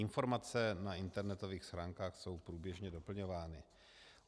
Informace na internetových stránkách jsou průběžně doplňovány.